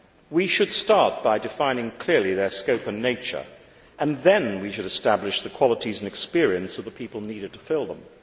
We should start by defining clearly their scope and nature, and then we should establish the qualities and experience of the people needed to fill them.